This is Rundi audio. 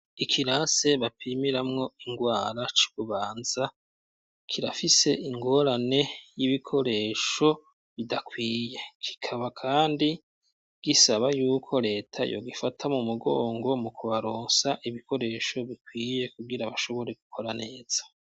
Ikirasi bapimiramwo ingwara c'i Bubanza, kirafise ingorane y'ibikoresho bidakwiye, kikaba kandi gisaba y'uko leta yogifata mu mugongo, mukubaronsa ibikoresho bikwiye, kubgira bashobore gukora neza.